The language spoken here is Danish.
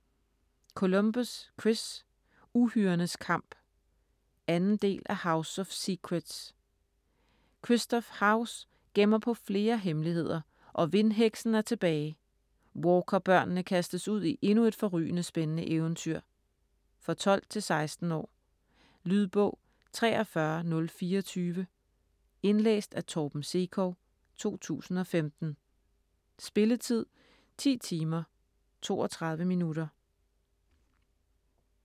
Columbus, Chris: Uhyrernes kamp 2. del af House of secrets. Kristoff House gemmer på flere hemmeligheder, og vindheksen er tilbage. Walker børnene kastes ud i endnu et forrygende spændende eventyr. For 12-16 år. Lydbog 43024 Indlæst af Torben Sekov, 2015. Spilletid: 10 timer, 32 minutter.